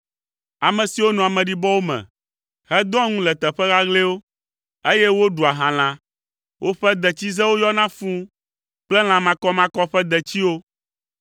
ame siwo nɔa ameɖibɔwo me hedɔa ŋu le teƒe ɣaɣlɛwo, eye woɖua halã, woƒe detsizewo yɔna fũu kple lã makɔmakɔ ƒe detsiwo.